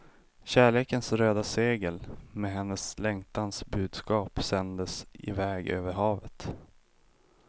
Kärlekens röda segel med hennes längtans budskap sändes i väg över havet.